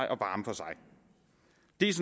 det